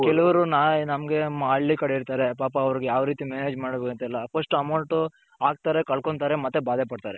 but ಕೆಲವರಿಗೆ ನಮ್ಮಗೆ ಹಳ್ಳಿ ಕಡೆ ಇರ್ತಾರೆ ಪಾಪ ಅವರಿಗೆ ಯಾವ್ ರೀತಿ manage ಮಾಡ್ಬೇಕು ಅಂತ ಎಲ್ಲಾ first amount ಹಾಕ್ತಾರೆ ಕಳಕೊಳತಾರೆ ಮತ್ತೆ ಬಾದೆ ಪಡ್ತಾರೆ.